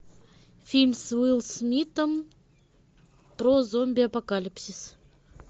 фильм с уиллом смитом про зомби апокалипсис